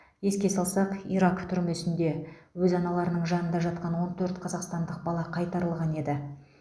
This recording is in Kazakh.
еске салсақ ирак түрмесінде өз аналарының жанында жатқан он төрт қазақстандық бала қайтарылған еді